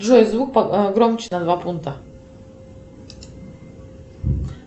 джой звук громче на два пункта